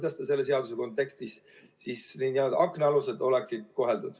Või kuidas selle seaduse kontekstis oleksid meie head nn aknaalused koheldud?